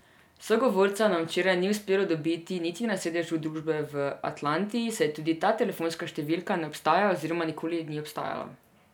Sogovorca nam včeraj ni uspelo dobiti niti na sedežu družbe v Atlanti, saj tudi ta telefonska številka ne obstaja oziroma nikoli ni obstajala.